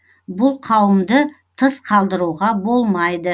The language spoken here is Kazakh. бұл қауымды тыс қалдыруға болмайды